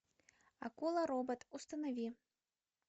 акула робот установи